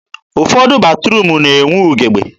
ụfọdụ batruum na-enwe ugebe.